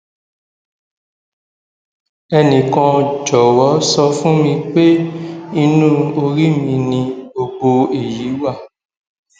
ẹnìkan jọwọ sọ fún mi pé inú orí mi ni gbogbo èyí wà